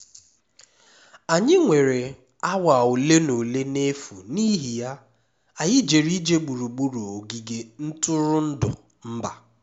anyị nwere awa ole na ole n'efu n'ihi ya anyị jere ije gburugburu ogige ntụrụndụ mba